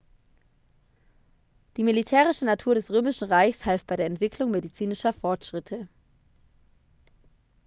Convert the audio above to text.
die militärische natur des römischen reichs half bei der entwicklung medizinischer fortschritte